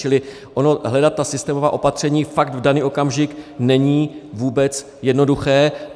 Čili hledat ta systémová opatření fakt v daný okamžik není vůbec jednoduché.